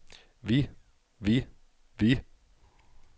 vi vi vi